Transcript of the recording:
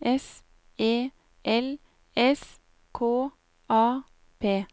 S E L S K A P